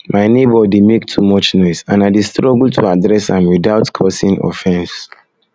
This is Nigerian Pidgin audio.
my neighbor dey make too much noise and i dey struggle to address am without without causing offense